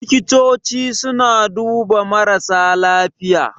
Likitoci suna duba marasa lafiya